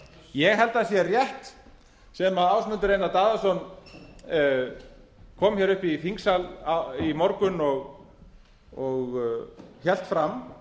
ég held að það sé rétt sem háttvirtur þingmaður ásmundur einar daðason kom upp í þingsal í morgun og hélt fram